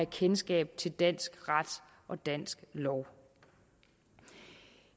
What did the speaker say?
kendskabet til dansk ret og dansk lov